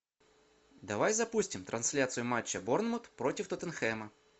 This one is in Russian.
давай запустим трансляцию матча борнмут против тоттенхэма